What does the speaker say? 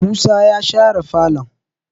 musa ya share falon?